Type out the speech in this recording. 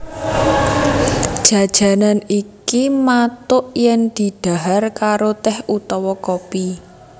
Jajanan iki mathuk yen didhahar karo tèh utawa kopi